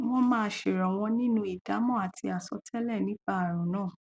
wọn máa ṣèrànwọ nínú ìdámọ àti àsọtẹlẹ nípa ààrùn náà